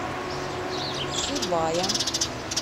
сибая